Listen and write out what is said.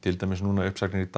uppsagnir í dag